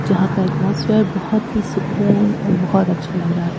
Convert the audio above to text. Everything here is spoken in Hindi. जहां का एटमॉस्फियर बहुत ही सुकून और बहुत अच्छा लग रहा है।